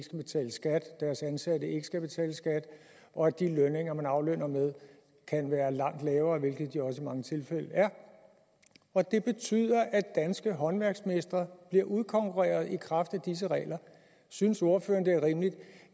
deres ansatte ikke skal betale skat og at de lønninger man aflønner med kan være langt lavere hvilket de også i mange tilfælde er og det betyder at danske håndværksmestre bliver udkonkurreret i kraft af disse regler synes ordføreren det er rimeligt